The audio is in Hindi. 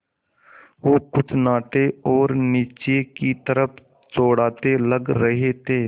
वो कुछ नाटे और नीचे की तरफ़ चौड़ाते लग रहे थे